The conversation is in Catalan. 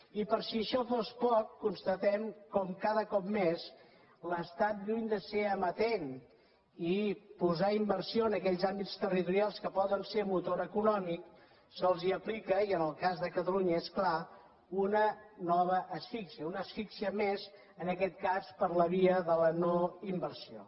i per si això fos poc constatem com cada cop més l’estat lluny de ser amatent i posar inversió en aquells àmbits territorials que poden ser motor econòmic se’ls aplica i en el cas de catalunya és clar una nova asfíxia una asfíxia més en aquest cas per la via de la no inversió